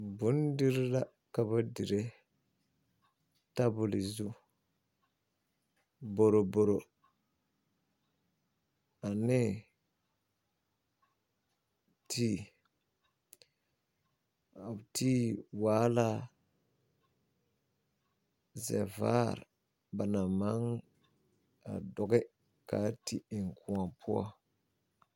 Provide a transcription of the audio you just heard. Ghana lɔmaalba naŋ be a gɔvemɛnte lombore na la kaa ba wedeɛrɛ a yele yɛllɛ kyɛ ka a ba naŋ na zaa naŋ e a potuurebo a zeŋ kyɛ kyɛllɛ.